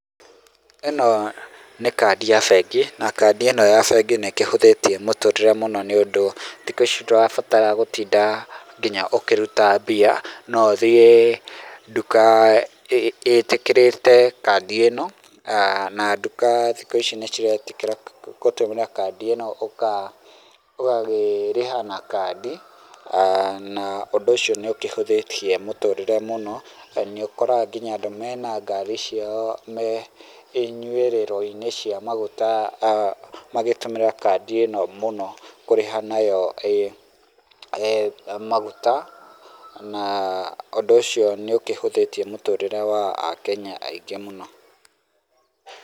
Ĩno nĩ kandi ya bengi, na kandi ĩno ya bengi nĩ ĩkĩhũthĩtie mũtũrĩre mũno nĩ ũndũ thĩkũ ĩci ndũrabatara gũtĩnda nginya ũkĩruta mbia. No ũthiĩ nduka ĩtĩkĩrĩte kandi ĩno, na nduka thikũ ĩci nĩ ciretĩkĩra gũtũmĩra kandi ĩno ũgakĩrĩha na kandi. Na ũndũ ũcio nĩ ũkĩhũthĩtie mũtũrĩre mũno na nĩ ũkoraga nginya andũ mena ngari ciao me ĩnyuĩrĩro-inĩ cia maguta magĩtũmĩra kandi ĩno mũno kũrĩha nayo maguta, na ũndũ ũcio nĩ ũkĩhũthĩtie mũtũrĩre wa a Kenya aingĩ mũno.